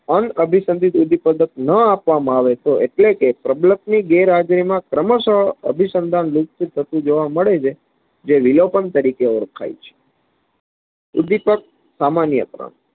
ણ અભિસન્દીપ ઉદીપગત ન આપવામાં આવે તો એટલેકે પ્રબળકની ગેરહાજરી નો ક્રમશઃ અભિસન્દન લુપ્ત થતું જોવા મળે છે જે લીલોપન તરીકે ઓળખાય છે. ઉદીપક સામાન્ય ક્રમ